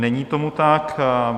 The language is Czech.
Není tomu tak.